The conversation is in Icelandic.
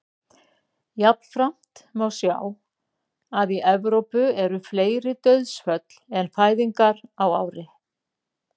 jafnframt má sjá að í evrópu eru fleiri dauðsföll en fæðingar á ári